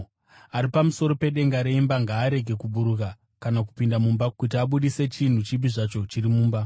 Ari pamusoro pedenga reimba ngaarege kuburuka kana kupinda mumba kuti abudise chinhu chipi zvacho chiri mumba.